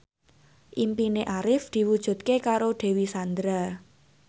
impine Arif diwujudke karo Dewi Sandra